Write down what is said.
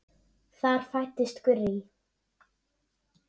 Þar fæddist Gurrý.